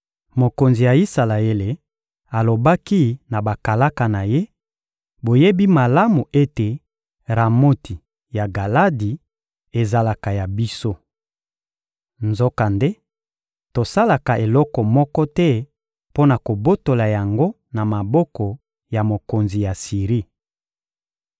Mokonzi ya Isalaele alobaki na bakalaka na ye: «Boyebi malamu ete Ramoti ya Galadi ezalaka ya biso! Nzokande, tosalaka eloko moko te mpo na kobotola yango na maboko ya mokonzi ya Siri.»